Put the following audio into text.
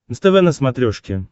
нств на смотрешке